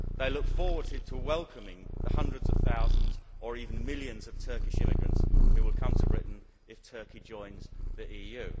They look forward to welcoming the hundreds of thousands, or even millions, of Turkish immigrants who will come to Britain if Turkey joins the EU.